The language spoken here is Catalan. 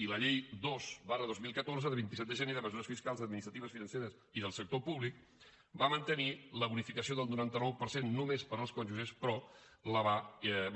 i la llei dos dos mil catorze del vint set de gener de mesures fiscals administratives financeres i del sector públic va mantenir la bonificació del noranta nou per cent només per als cònjuges però va